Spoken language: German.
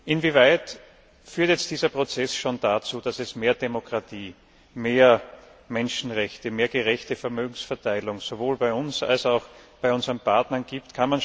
Inwieweit führt jetzt dieser Prozess schon dazu, dass es mehr Demokratie, mehr Menschenrechte, mehr gerechte Vermögensverteilung sowohl bei uns als auch bei unseren Partnern gibt?